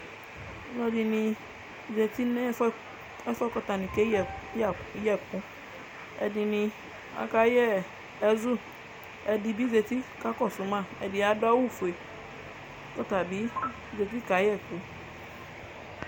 Ɔlɔdini zati nʋ ɛfʋ yɛ kʋ atani kayɛ ɛkʋ Ɛdini akayɛ ɛzʋ ɛdibi zeti kakɔsʋ ma kʋ adʋ awʋfue, kʋ ɔrabi zeti kayɛ ɛkʋ